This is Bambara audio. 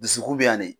Dusukun bɛ yan de